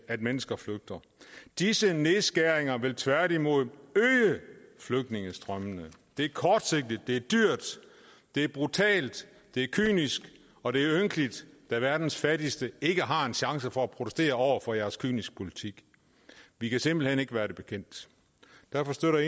at mennesker flygter disse nedskæringer vil tværtimod øge flygtningestrømmene det er kortsigtet det er dyrt det er brutalt det er kynisk og det er ynkeligt da verdens fattigste ikke har en chance for at protestere over for jeres kyniske politik vi kan simpelt hen ikke være det bekendt derfor støtter